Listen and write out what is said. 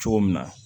Cogo min na